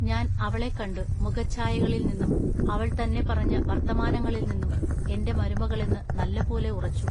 ഞാൻ അവളെക്കണ്ടു മുഖശ്ചായകളിൽനിന്നും അവൾ തന്നെ പറഞ്ഞ വൎത്തമാനങ്ങളിൽനിന്നും എന്റെ മരുമകളെന്നു നല്ലപോലെ ഉറച്ചു.